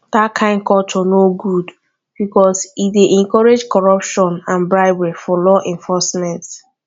dat kain culture no good because e dey encourage corruption and bribery for law enforcement